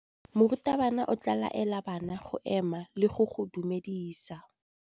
Morutabana o tla laela bana go ema le go go dumedisa.